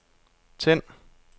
tænd